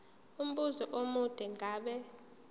umbuzo omude ngabe